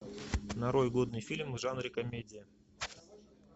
нарой годный фильм в жанре комедия